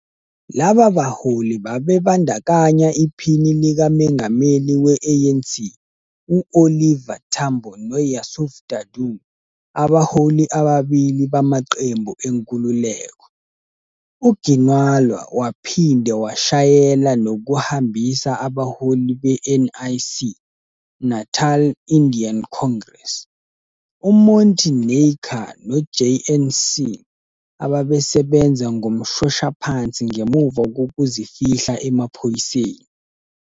Laba baholi babebandakanya iPhini likaMengameli we-ANC u-Oliver Tambo noYusuf Dadoo, abaholi ababili bamaqembu enkululeko. UGinwala waphinde washayela nokuhambisa abaholi beNIC, Natal Indian Congress, uMonty Naicker noJN Singh, ababesebenza ngomshoshaphansi ngemuva kokuzifihla emaphoyiseni.